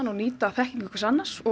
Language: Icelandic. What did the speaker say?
nýta þekkingu hvers annars og